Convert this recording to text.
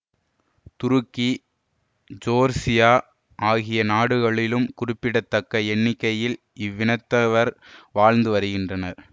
துருக்கி Georgia ஆகிய நாடுகளிலும் குறிப்பிடத்தக்க எண்ணிக்கையில் இவ்வினத்தவர் வாழ்ந்து வருகின்றனர்